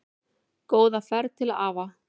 Góða ferð til afa.